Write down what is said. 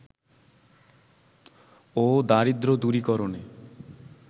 ও দারিদ্র দূরীকরণে